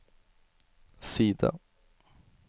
side